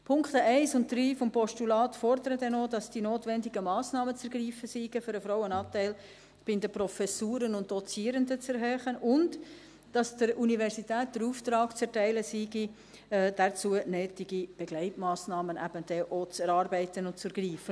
Die Punkte 1 und 3 des Postulats fordern dann auch, dass die notwendigen Massnahmen zu ergreifen sind, um den Frauenanteil bei den Professuren und Dozierenden zu erhöhen, und dass der Universität der Auftrag zu erteilen sei, dafür nötige Begleitmassnahmen dann eben auch zu erarbeiten und zu ergreifen.